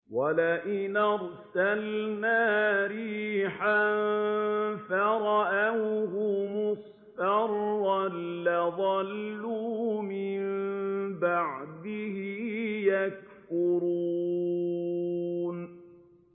وَلَئِنْ أَرْسَلْنَا رِيحًا فَرَأَوْهُ مُصْفَرًّا لَّظَلُّوا مِن بَعْدِهِ يَكْفُرُونَ